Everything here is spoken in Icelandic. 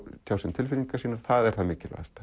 tjá sig um tilfinningar sínar það er það mikilvægasta